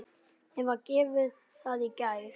Mér var gefið það í gær.